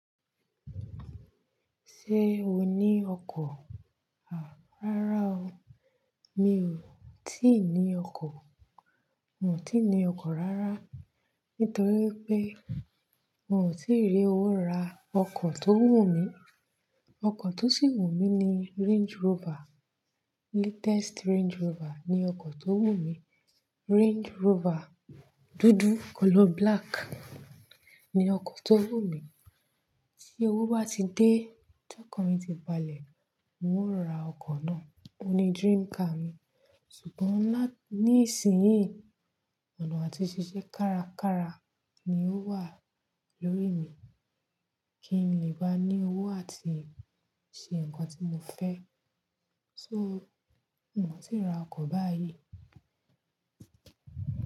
Ṣé o ní ọkọ̀? À, rárá o. Mi ò tíì ní ọkọ̀. Mi ò tíì ní ọkọ̀ rárá. Nítorí pé mi ò tíì rí owó ra ọkọ̀ tó wù mí. Ọkọ̀ tó sì wù mí ni Range Rover. Latest Range Rover ni ọkọ̀ tó wù mí. Range Rover dúdú color black ni ọkọ̀ tó wù mí. Tí owó bá ti dé, tí ọkọ̀n mi ti balẹ̀, n ó ra ọkọ̀ náà. Ó ní dream car mi. Sùgbọ́n lá-- ní ìsinyìí, ọ̀nà àti ṣiṣẹ́ kárakára ni ó wà lórí mi. Kí n lè bá ní owó àti ṣe ǹkan tí mo fẹ́. So, mi ò tíì ra ọkọ̀ báyìí.